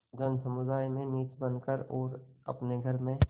जनसमुदाय में नीच बन कर और अपने घर में